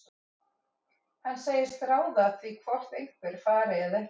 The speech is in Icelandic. Hann segist ráða því hvort einhver fari eða ekki.